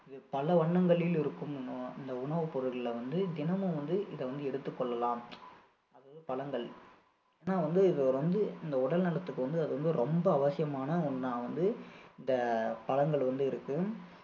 பல வண்ணங்களில் இருக்கும் இந்~ இந்த உணவுப்பொருள்ல வந்து தினமும் வந்து இதை வந்து எடுத்துக் கொள்ளலாம் அதாவது பழங்கள் ஏன்னா வந்து இது வந்து உடல்நலத்துக்கு வந்து அது வந்து ரொம்ப அவசியமான ஒண்ணா வந்து இந்த பழங்கள் வந்து இருக்கு